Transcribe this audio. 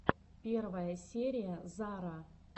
первая серия зара